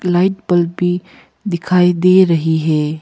Light bulb भी दिखाई दे रही है।